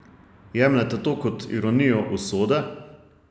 Jemljete to kot ironijo usode?